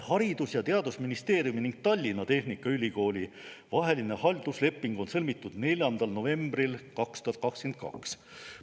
Haridus- ja Teadusministeeriumi ning Tallinna Tehnikaülikooli vaheline haldusleping on sõlmitud 4. novembril 2022.